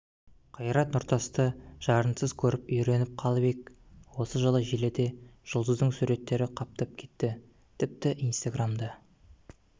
қайрат нұртасты жарынсыз көріп үйреніп қалып ек осы жылы желіде жұлдыздың суреттері қаптап кетті тіпті инстаграмда